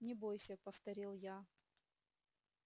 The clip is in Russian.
не бойся повторил я